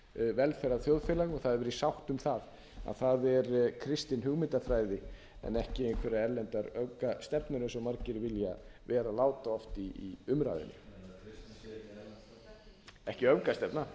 velferðarþjóðfélag og það hefur verið sátt um það að það er kristin hugmyndafræði en ekki einhverjar erlendar öfgastefnur eins og margir vilja vera láta oft í umræðunni ekki öfgastefna